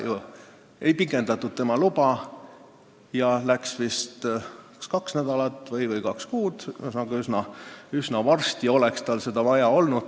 " Tema luba ei pikendatud, aga läks mööda vist kaks nädalat või kaks kuud, ühesõnaga, üsna varsti oleks tal seda vaja olnud.